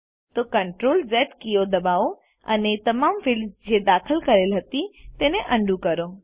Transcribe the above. તો Ctrl Z કીઓ દબાવો અને તમામ ફિલ્ડ્સ જે દાખલ કરેલ હતી તેને અન્ડું કરો